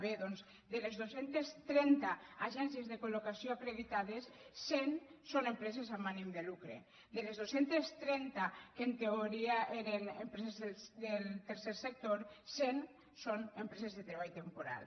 bé doncs de les dos centes trenta agències de col·cent són empreses amb ànim de lucre de les dos centes trenta que en teoria eren empreses del tercer sector cent són empreses de treball temporal